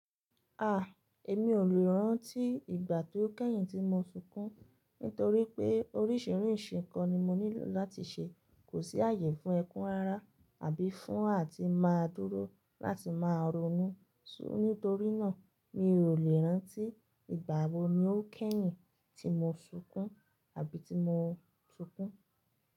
A! Èmi ò lè rántí ìgbà tó kẹ́yìn tí mo sunkún nítorí pé oríṣiríṣi nǹkan ni mo nílò láti ṣe, kò sí àyè fún ẹkún rárá àbí fún àti máa dúró láti máa ronú. Nítorínà, mi ò lè rántí ìgbà wo ni ó kẹ́yìn tí mo sunkún àbí ti mo sunkún.